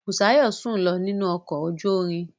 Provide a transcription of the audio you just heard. Busayo sùn lọ nínú ọkọ̀ ojú irin.